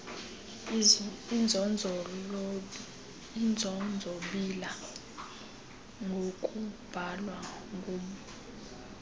inzonzobila ngokubhalwa ngub